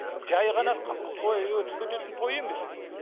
жай ғана той өтіп кететін той емес бұл